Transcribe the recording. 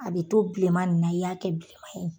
A bɛ to bilen man ni na, i y'a kɛ bilen man ye.